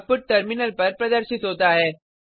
output terminal पर प्रदर्शित होता है